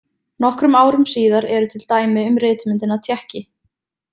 Nokkrum árum síðar eru til dæmi um ritmyndina tékki.